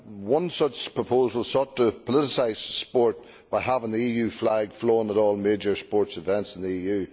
One such proposal sought to politicise sport by having the EU flag flown at all major sports events in the EU.